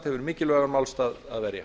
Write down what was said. hefur mikilvægan málstað að verja